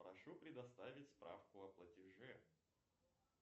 прошу предоставить справку о платеже